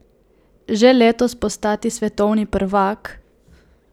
Že letos postati svetovni prvak?